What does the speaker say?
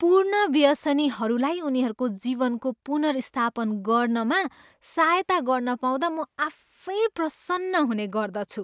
पूर्ण व्यसनीहरूलाई उनीहरूको जीवनको पुनर्व्यवस्थापन गर्नमा सहायता गर्न पाउँदा म आफै प्रसन्न हुने गर्दछु।